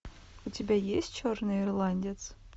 у тебя есть черный ирландец